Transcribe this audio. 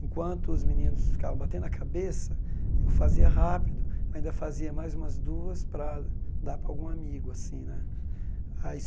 Enquanto os meninos ficavam batendo a cabeça, eu fazia rápido, ainda fazia mais umas duas para dar para algum amigo assim né. Aí